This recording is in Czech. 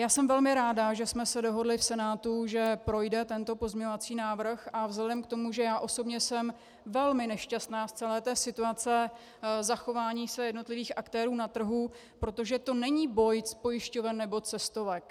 Já jsem velmi ráda, že jsme se dohodli v Senátu, že projde tento pozměňovací návrh, a vzhledem k tomu, že já osobně jsem velmi nešťastná z celé té situace zachování se jednotlivých aktérů na trhu - protože to není boj pojišťoven nebo cestovek.